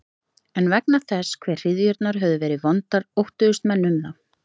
En vegna þess hve hryðjurnar höfðu verið vondar óttuðust menn um þá.